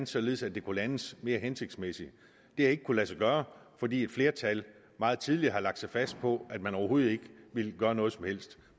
således at det kunne landes mere hensigtsmæssigt det har ikke kunnet lade sig gøre fordi et flertal meget tidligt lagde sig fast på at man overhovedet ikke ville gøre noget som helst